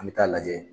An bɛ taa lajɛ